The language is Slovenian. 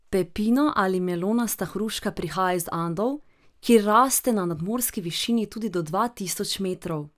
Pepino ali melonasta hruška prihaja iz Andov, kjer raste na nadmorski višini tudi do dva tisoč metrov.